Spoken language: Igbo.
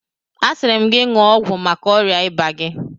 Asịrị m ga ṅụọ ọgwụ maka ọrịa ịba gị!